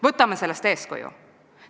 Võtame sellest eeskuju.